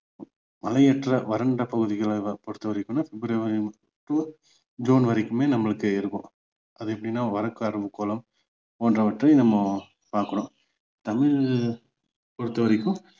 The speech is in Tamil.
மழையற்ற வறண்ட பகுதிகளை பொறுத்த வரைக்கும்னா பிப்ரவரி to ஜூன் வரைக்குமே நம்மளுக்கு இருக்கும் அது எப்படின்னா வடக்கு அரைக்கோளம் போன்றவற்ற நம்ம பாக்குறோம் தமிழ் பொறுத்த வரைக்கும்